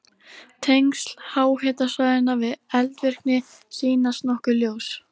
Tengsl háhitasvæðanna við eldvirkni sýnast nokkuð ljós.